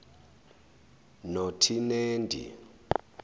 notinendi